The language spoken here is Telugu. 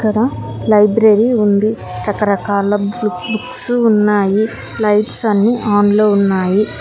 ఇక్కడ లైబ్రరీ ఉంది రకరకాల బుక్సు ఉన్నాయి లైట్స్ అన్నీ ఆన్ లో ఉన్నాయి.